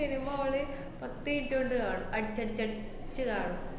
Cinema ഓള് പത്ത് minute കൊണ്ട് കാണും. അടിച്ചടിച്ചടിച്ച് കാണും.